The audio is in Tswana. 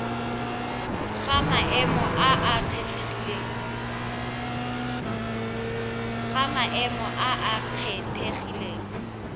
ga maemo a a kgethegileng